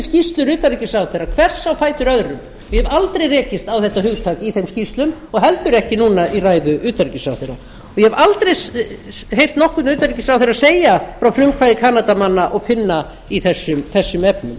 skýrslur utanríkisráðherra hvers á fætur öðrum og ég hef aldrei rekist á þetta hugtak í þeim skýrslum og heldur ekki núna í ræðu utanríkisráðherra ég hef aldrei heyrt nokkurn utanríkisráðherra segja frá frumkvæði kanadamanna og finna í þessum efnum